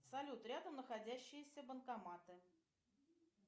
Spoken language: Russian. салют рядом находящиеся банкоматы